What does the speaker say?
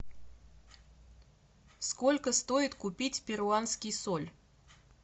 сколько стоит купить перуанский соль